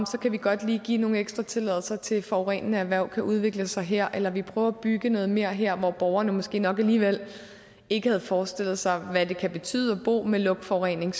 så kan vi godt lige give nogle ekstra tilladelser til at et forurenende erhverv kan udvikle sig her eller vi prøver at bygge noget mere her hvor borgerne måske nok alligevel ikke havde forestillet sig hvad det kan betyde at bo med lugtforurening